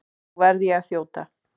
Nú verð ég að þjóta.